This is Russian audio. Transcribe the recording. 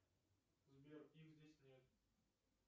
сбер их здесь нет